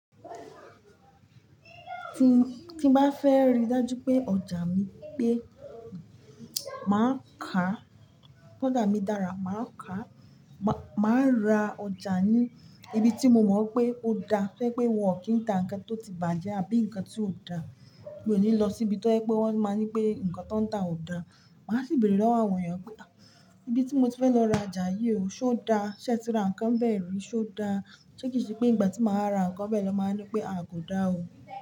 Ti bá fẹ́ rí dájú pé ọjà mi pé máa ka, pé ọjà mi dára, máa ka, máa ra ọjà ní ibi tí mo mọ̀ pé ó dá. Tó jẹ́ pé wọn kì í ta ǹkan tó ti bàjẹ́ àbí ǹkan tí ò dá. Mi ò ní lọ síbi tó ẹ́ pé wọ́n máa ń ní pé ǹkan tó ń ta ò da. Màá sì béèrè lọ́wọ́ àwọn èèyàn pé "à, ibi tí mo ti fẹ́ lọ ra ọjà yìí o, ṣé ó dá? Ṣé ẹ ti ra ǹkan bẹ́ẹ̀ rí, ṣé ó dá? Sé kì í ṣe pé ìgbà tí máa ra ǹkan bẹ́ẹ̀ lọ máa ń ní pé a kò dá o.